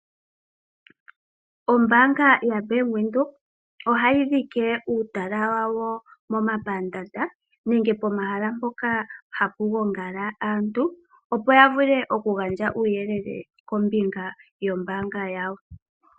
Ombaanga ya Bank Windhoek oha yi dhike uutala wawo mo mapandaanda, nenge pomahala mpoka ha pu gongala aantu, opo ya vule oku gandja uuyelele kombinga yombaanga yawo.